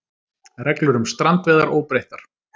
Reglur um strandveiðar óbreyttar